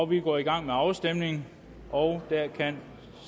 vi går i gang med afstemningen og der kan